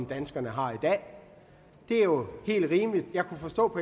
danskerne har i dag det er jo helt rimeligt jeg kunne forstå på